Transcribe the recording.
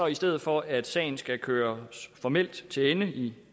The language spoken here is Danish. i stedet for at sagen skal køres formelt til ende i